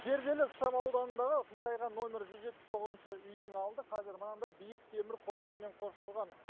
зерделі ықшам ауданындағы қисайған номері жүз жетпіс тоғызыншы үйдің алды қазір мынандай биік темір қоршаумен қоршалған